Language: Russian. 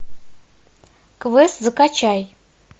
квест закачай